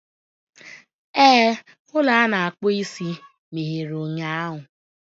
Ee, ụlọ a na-akpụ isi meghere ụnyahụ.